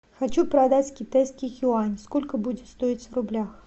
хочу продать китайский юань сколько будет стоить в рублях